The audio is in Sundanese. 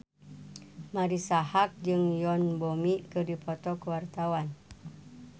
Marisa Haque jeung Yoon Bomi keur dipoto ku wartawan